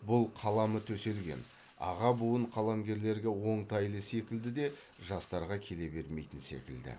бұл қаламы төселген аға буын қаламгерлерге оңтайлы секілді де жастарға келе бермейтін секілді